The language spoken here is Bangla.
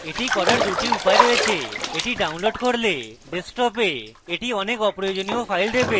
এখন এটি করার দুটি উপায় রয়েছে আমরা এটি download করতে পারি কিন্তু এটি ডেস্কটপে অনেক অপ্রয়োজনীয় files দেবে